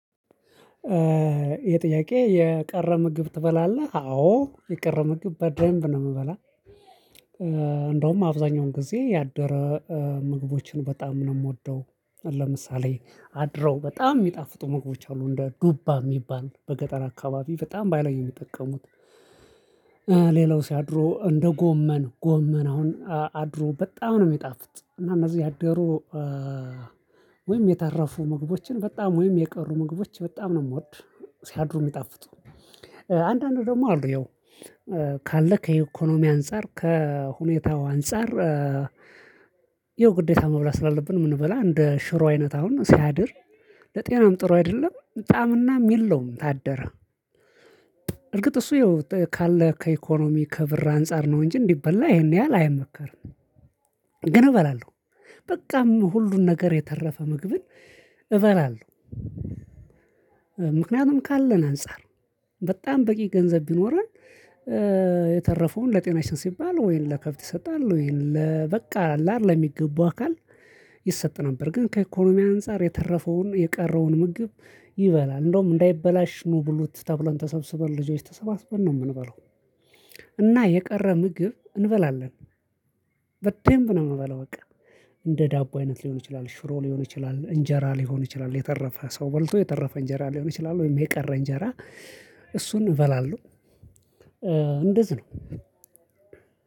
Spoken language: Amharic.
የጥያቄ የቀረ ምግብ ትበላለህ አዎ የቀረ ምግብ በደንብ ነው የምበላው። እንደውም አብዛኛውን ጊዜ ያደረ ምግቦችን በጣም ነው የምወደው ለምሳሌ አድሮ በጣም የሚጣፍጡ ሞግቦች አሉ እንደ ዱባ የሚባል በገጠር አካባቢ በጣም ባይላይ የሚጠቀሙት። ሌላው ሲያድሮ እንደ ጎመን ጎመን አሁን አድሮ በጣም ነው የሚጣፍጥ እና እነዚህ ያደሩ። ወይም የተረፉ ምግቦችን በጣም ወይም የቀሩ ምግቦች በጣም ነው የምወድ ሲያድሩ የሚጣፍጡ። አንዳንዱ ደግሞ አሉ ያው ካለ ከኢኮኖሚ አንፃር ከሁኔታው አንፃር። ይኸው ግዴታ መብላት ስላለብን የምንበላ እንደ ሽሮ አይነት አሁን ሲያድር ለጤናም ጥሩ አይደለም በጣምና የለውም ታደረ። እርግጥ እሱ ይኸው ካለ ከኢኮኖሚ ከብር አንፃር ነው እንጂ እንዲበላ ይሄን ያህል አይመከርም። ግን እበላለሁ በቃም ሁሉን ነገር የተረፈ ምግብን እበላለሁ። ምክንያቱም ካለን አንፃር በጣም በቂ ገንዘብ ቢኖረን። የተረፈውን ለጤናሽን ሲባል ወይን ለከብት ይሰጣል ወይንም በቃ አለ አይደለም ለሚገባው አካል ይሰጣል ነበር ግን ከኢኮኖሚ አንፃር የተረፈውን የቀረውን ምግብ ይበላል። እንደውም እንዳይበላሽ ኑ ብሉት ተብለን ተሰብስበን ልጆች ተሰባስበን ነው የምንበለው። እና የቀረ ምግብ እንበላለን በደንብ ነው የምንበለው በቃ። ዳቦ አይነት ሊሆን ይችላል ሽሮ ሊሆን ይችላል እንጀራ ሊሆን ይችላል የተረፈ ሰው በልቶ የተረፈ እንጀራ ሊሆን ይችላል ወይም የቀረ እንጀራ እሱን እበላለሁ። እንደዚህ ነው።